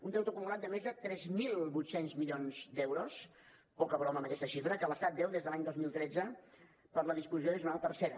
un deute acumulat de més de tres mil vuit cents milions d’euros poca broma amb aquesta xifra que l’estat deu des de l’any dos mil tretze per la disposició addicional tercera